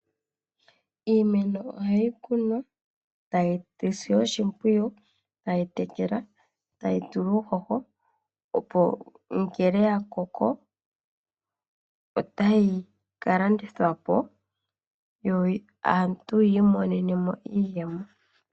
Iimeno ohayi kunwa e tayi silwa oshimpwiyu e tayi tekelwa, tayi tulwa uuhoho. Opo ngele yakoko otayi landithwa po aantu yiimonene iiyemo.